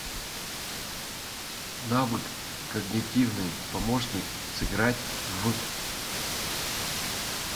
навык когнитивный помощник сыграть в